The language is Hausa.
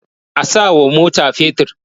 A sawa mota fetur.